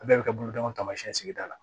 Bɛɛ bɛ kɛ bolodenw tamasiyɛn sigida la